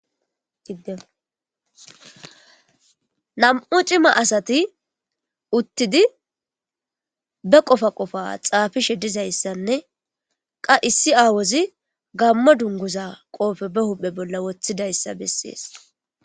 gidenam7u cima asati uttidi be qofa qofa xaafishe dizayssanne qa issi aawozi gammo dunguza qoofe be huphe bolla woththidayssa bessees